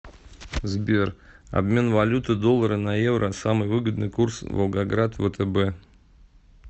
сбер обмен валюты доллары на евро самый выгодный курс волгоград втб